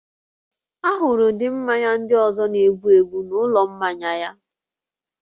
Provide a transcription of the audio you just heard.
A hụrụ ụdị mmanya ndị ọzọ na-egbu egbu n'ụlọ mmanya ya